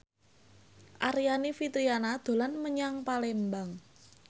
Aryani Fitriana dolan menyang Palembang